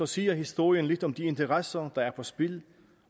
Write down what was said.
siger historien lidt om de interesser der er på spil